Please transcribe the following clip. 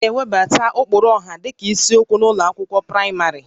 A ga-ewebata ụkpụrụ ọha dịka isiokwu n'ụlọ akwụkwọ praịmarị